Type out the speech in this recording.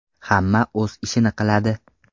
Hamma o‘z ishini qiladi.